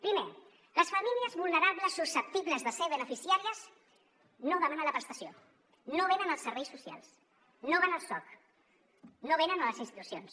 primer les famílies vulnerables susceptibles de ser beneficiàries no demanen la prestació no venen als serveis socials no van al soc no venen a les institucions